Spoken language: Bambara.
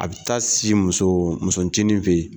A bɛ taa si muso ncinin fɛ yen.